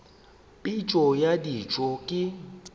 phišo ya kedišo e ka